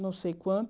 Não sei